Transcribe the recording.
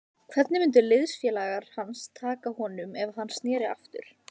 Hvernig myndu liðsfélagar hans taka honum ef hann sneri aftur?